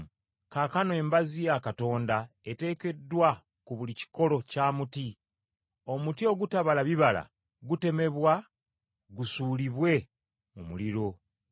Kaakano embazzi ya Katonda eteekeddwa ku buli kikolo kya muti, omuti ogutabala bibala birungi, gutemebwa gusuulibwe mu muliro.